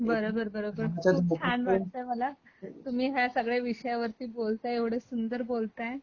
बरोबर, बरोबर खूप छान वाटल मला तुम्ही ह्या सगळ्या विषयावर बोलताय एवढं सुंदर बोलताय